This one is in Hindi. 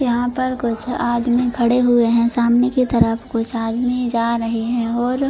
यहां पर कुछ आदमी खड़े हुए हैं सामने की तरफ़ कुछ आदमी जा रहे हैं और --